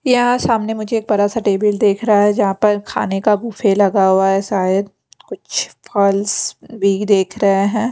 यहां सामने मुझे एक बड़ा सा देख रहा है जहां पर खाने का बुफे लगा हुआ है शायद कुछ फलस भी दिख रहे हैं।